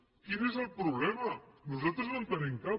quin és el problema nosaltres no en tenim cap